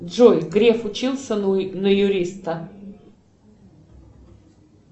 джой греф учился на юриста